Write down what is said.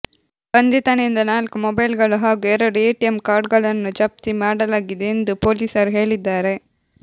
ಬಂಧಿತನಿಂದ ನಾಲ್ಕು ಮೊಬೈಲ್ಗಳು ಹಾಗೂ ಎರಡು ಎಟಿಎಂ ಕಾರ್ಡ್ಗಳನ್ನು ಜಪ್ತಿ ಮಾಡಲಾಗಿದೆ ಎಂದು ಪೊಲೀಸರು ಹೇಳಿದ್ದಾರೆ